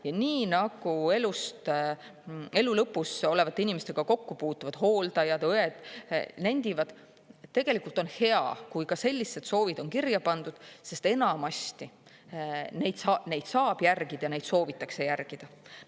Ja nii nagu elu lõpus olevate inimestega kokku puutuvad hooldajad ja õed nendivad, tegelikult on hea, kui ka sellised soovid on kirja pandud, sest enamasti neid saab järgida ja neid soovitakse järgida.